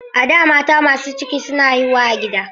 A da, mata masu ciki suna haihuwa a gida.